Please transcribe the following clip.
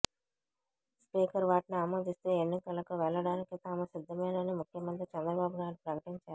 speaker వాటిని ఆమోదిస్తే ఎన్నికలకు వెళ్ళడానికి తాము సిద్ధమేనని ముఖ్యమంత్రి చంద్రబాబునాయుడు ప్రకటిచారు